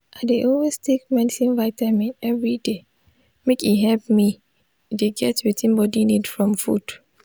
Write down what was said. i dey always take vitamin medicine everyday make e help me the get wetin body need from food